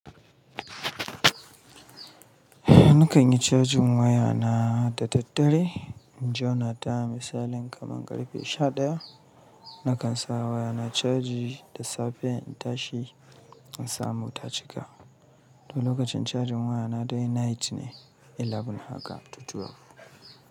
Nakan yi cajin wayana da daddare. In jona ta misalin kaman karfe sha ɗaya, nakan sa wayana caji da safe in tashi in samu ta cika. To lokacin cajin wayana dai night ne, eleven haka to twelve.